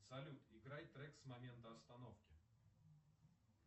салют играй трек с момента остановки